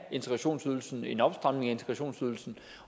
integrationsydelsen en opstramning af integrationsydelsen